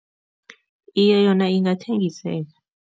Iye, yona ingathengiseka.